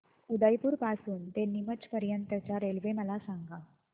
उदयपुर पासून ते नीमच पर्यंत च्या रेल्वे मला सांगा